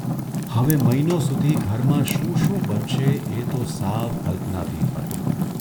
હવે મહિનો સુધી ઘરમાં શું શું બનશે એ તો સાવ કલ્પનાતીત હતું !